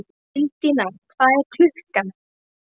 Undína, hvað er klukkan?